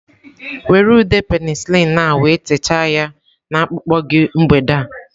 Were ude penicillin a wee techaa ya na akpụkpọ gị mgbede a.